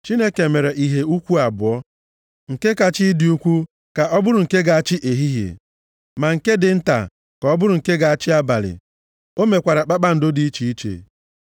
Chineke mere ìhè ukwu abụọ, nke kacha ịdị ukwu ka ọ bụrụ nke ga-achị ehihie, ma nke dị nta ka ọ bụrụ nke ga-achị abalị. O mekwara kpakpando dị iche iche.